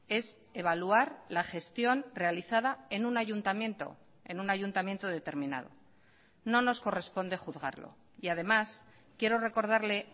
es evaluar la gestión realizada en un ayuntamiento en un ayuntamiento determinado no nos corresponde juzgarlo y además quiero recordarle